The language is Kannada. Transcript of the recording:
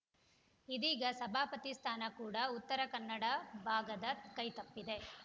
ಇದೀಗ ಸಭಾಪತಿ ಸ್ಥಾನ ಕೂಡ ಉತ್ತರ ಕನ್ನಡ ಭಾಗದ ಕೈತಪ್ಪಿದೆ